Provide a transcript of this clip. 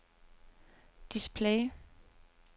display